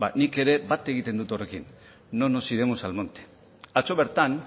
nik ere bat egiten dut horrekin no nos iremos al monte atzo bertan